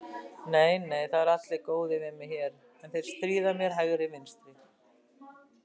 Nei nei, það eru allir góðir við mig hér, en þeir stríða mér hægri vinstri.